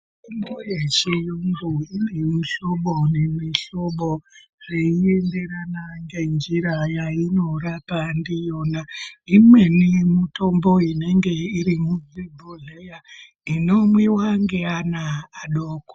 Mitombo yechizvino kune mihlobo nemihlobo zveienderana nenjira yainorapa ndiyona. Imweni mitombo inenge iri muzvibhohleya inomwiwa ngeana adoko.